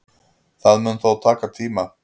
Það mun þó taka tíma